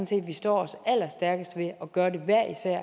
set at vi står stærkest ved at gøre det hver især